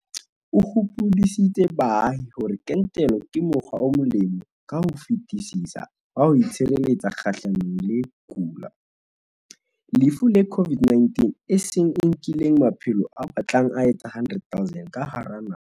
O hopoditse baahi hore kentelo ke mokgwa o molemo ka ho fetisisa wa ho itshireletsa kgahlanong le ho kula, lefu le COVID-19, e seng e nkileng maphelo a batlang a etsa 100 000 ka hara naha.